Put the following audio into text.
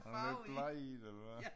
Han er lidt bleg i det eller hvad